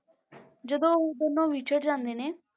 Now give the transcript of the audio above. ਜਦੋਂ ਉਹ ਦੋਨੋਂ ਵਿਛੜ ਜਾਂਦੇ ਨੇ,